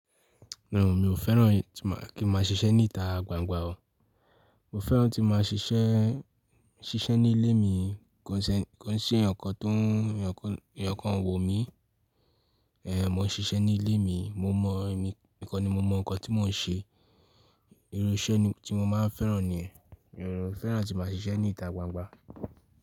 No mi ò fẹ́ràn kí n má ṣiṣẹ́ ní ìta gbangba o. Mo fẹ́ràn tí máa ṣiṣẹ́, ṣiṣẹ́ nílé mi kó ṣe, kó n ṣe èèyàn ǹkan tó o n èèyàn kan o wò mí. Ẹ̀n, mò ń ṣiṣẹ́ nílé mi, mo mọ e mi nìkan ni mo mọ ǹkan tí mò ń ṣe. Irú iṣẹ́ ni tí mo máa ń fẹ́ràn ni. E mi ò fẹ́ràn àti màá ṣiṣẹ́ ní ìta gbangba.